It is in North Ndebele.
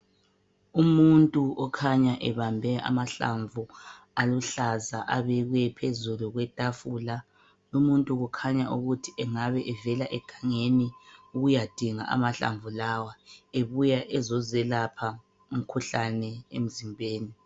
Umuntu okhanya ebambe amahlamvu aluhlaza abekwe phezulu kwetafula. Umuntu kukhanya ukuthi engabe evela egangeni ukuyadinga amahlamvu lawa ebuya ezozelapha umkhuhlane emzimbeni.